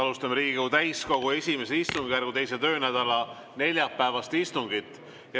Alustame Riigikogu täiskogu I istungjärgu 2. töönädala neljapäevast istungit.